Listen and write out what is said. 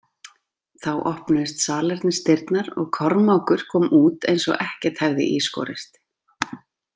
Þá opnuðust salernisdyrnar og Kormákur kom út eins og ekkert hefði í skorist.